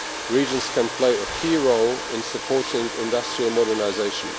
Regions can play a key role in supporting industrial modernisation.